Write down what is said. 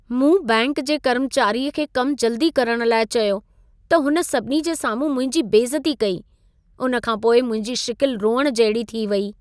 मूं बैंक जे कर्मचारीअ खे कम जल्दी करणु लाइ चयो, त हुन सभिनी जे साम्हूं मुंहिंजी बेइज़ती कई। उन खां पोइ मुंहिंजी शिकिलि रोइणु जहिड़ी थी वेई।